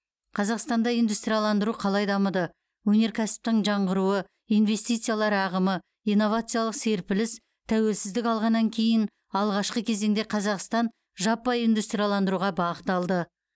қазақстанда индустрияландыру қалай дамыды өнеркәсіптің жаңғыруы инвестициялар ағымы инновациялық серпіліс тәуелсіздік алғаннан кейін алғашқы кезеңде қазақстан жаппай индустрияландыруға бағыт алды